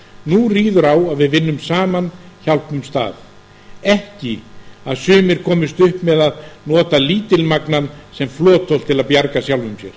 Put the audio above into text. nú ríður á að við vinnum saman og hjálpumst að ekki að sumir komist upp með að nota lítilmagnann sem flotholt til að bjarga sjálfum sér